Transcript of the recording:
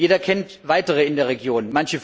Jeder kennt weitere in der Region.